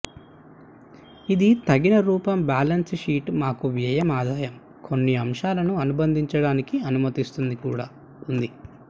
ఇది తగిన రూపం బ్యాలెన్స్ షీట్ మాకు వ్యయం ఆదాయం కొన్ని అంశాలను అనుబంధించడానికి అనుమతిస్తుంది కూడా ఉంది